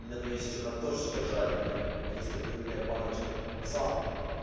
у меня там есть ещё картошечка жареная есть открытая баночка тунца